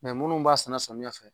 munnu b'a sɛnɛ samiya fɛ